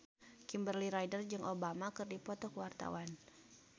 Kimberly Ryder jeung Obama keur dipoto ku wartawan